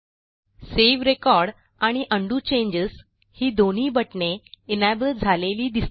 save record आणि undo changesही दोन्ही बटणे एनेबल झालेली दिसतील